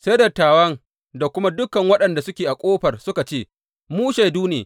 Sai dattawan da kuma dukan waɗanda suke a ƙofar suka ce, Mu shaidu ne.